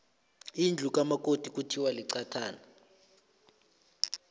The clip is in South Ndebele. indlu kamakoti kuthiwa liqathana